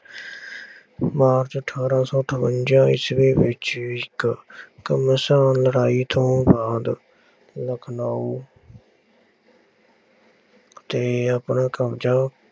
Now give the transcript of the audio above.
March ਅਠਾਰਾਂ ਸੌ ਅਠਵੰਜ਼ਾ ਈਸਵੀ ਵਿੱਚ ਇੱਕ ਘਮਸਾਣ ਲੜਾਈ ਤੋਂ ਬਾਅਦ ਲਖਨਊ ਤੇ ਆਪਣਾ ਕਬਜ਼ਾ